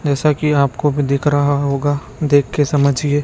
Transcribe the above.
ऐसा कि आप को भी दिख रहा होगा देख के समझिए।